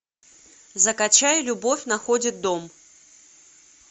закачай любовь находит дом